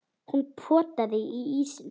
Hún potaði í ísinn.